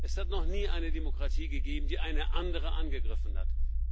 Es hat noch nie eine Demokratie gegeben, die eine andere angegriffen hat.